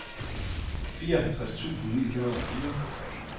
fireoghalvtreds tusind ni hundrede og fire